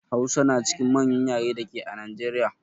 Hausa na cikin manƴan ƴare dake a Najeriƴa.